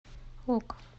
ок